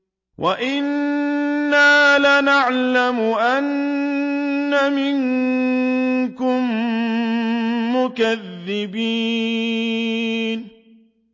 وَإِنَّا لَنَعْلَمُ أَنَّ مِنكُم مُّكَذِّبِينَ